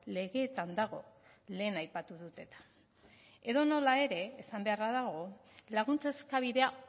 legeetan dago lehen aipatu dut eta edonola ere esan beharra dago laguntza eskabidea